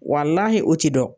Walahi o ti dɔn